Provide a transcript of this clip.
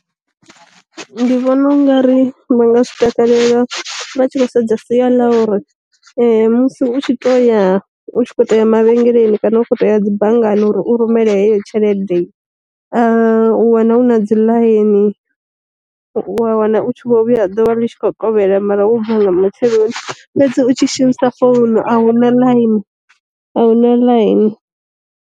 Ndi vhona u nga ri vha nga zwi takalela vha tshi khou sedza sia ḽa uri, musi u tshi to ya u tshi kho to ya ma vhengeleni kana u toya dzi banngani uri u rumela heyo tshelede, u wana hu na dzi ḽaini wa wana u tshi vho vhuya ḓuvha litshi kho kovhela mara u bva nga matsheloni fhedzi u tshi shumisa founu a huna ḽaini ahuna ḽaini.